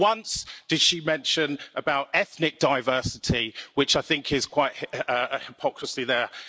not once did she mention about ethnic diversity, which I think is quite a hypocrisy there.